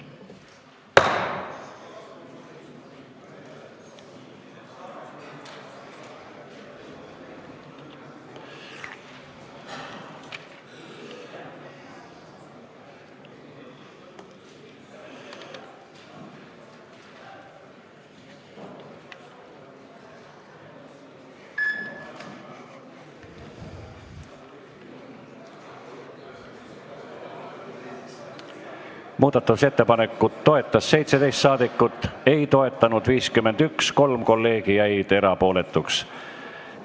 Hääletustulemused Muudatusettepanekut toetas 17 ja ei toetanud 51 saadikut, 3 kolleegi jäid erapooletuks.